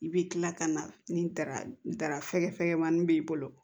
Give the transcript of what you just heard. I bɛ tila ka na ni dara fɛgɛfɛkɛmani b'i bolo